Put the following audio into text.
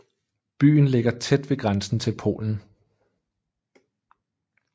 Byen ligger tæt ved grænsen til Polen